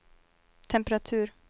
temperatur